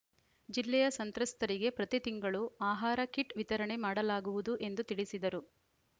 ಜಿಲ್ಲೆಯ ಸಂತ್ರಸ್ತರಿಗೆ ಪ್ರತಿ ತಿಂಗಳು ಆಹಾರ ಕಿಟ್‌ ವಿತರಣೆ ಮಾಡಲಾಗುವುದು ಎಂದು ತಿಳಿಸಿದರು